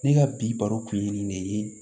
Ne ka bi baro kun ye nin de ye